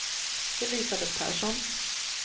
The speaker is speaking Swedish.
Elisabet Persson